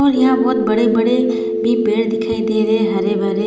और यहाँ बहोत बड़े बड़े भी पेड़ दिखाई दे रहे है हरे-भरे--